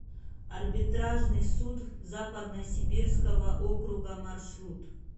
арбитражный суд западно сибирского округа маршрут